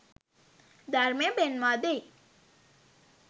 ධර්මය පෙන්වා දෙයි.